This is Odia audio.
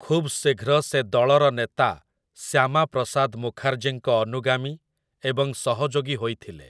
ଖୁବ୍ ଶୀଘ୍ର ସେ ଦଳର ନେତା ଶ୍ୟାମା ପ୍ରସାଦ ମୁଖାର୍ଜୀଙ୍କ ଅନୁଗାମୀ ଏବଂ ସହଯୋଗୀ ହୋଇଥିଲେ ।